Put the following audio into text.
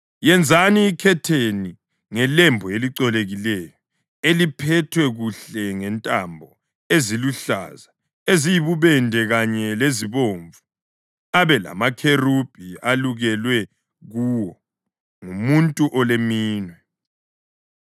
Yenzani ikhetheni ngelembu elicolekileyo, eliphethwe kuhle ngentambo eziluhlaza, eziyibubende kanye lezibomvu, abe lamakherubhi elukelwe kuwo ngumuntu oleminwe.